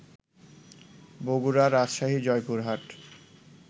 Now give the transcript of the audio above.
Bogura, Rajshahi, Joypurhat